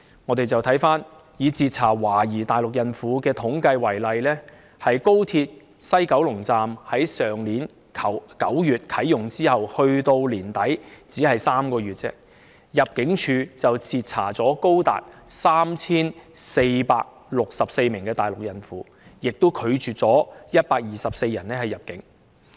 我們看看以截查懷疑大陸孕婦的統計數字為例，入境處在高鐵西九龍站去年9月啟用後至去年年底共3個月期間，截查了高達 3,464 名大陸孕婦，拒絕了當中124人入境。